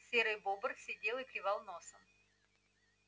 серый бобр сидел и клевал носом